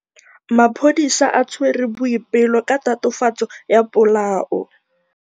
Maphodisa a tshwere Boipelo ka tatofatsô ya polaô.